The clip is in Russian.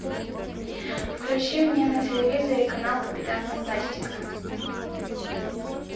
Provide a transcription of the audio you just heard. включи мне на телевизоре канал капитан фантастика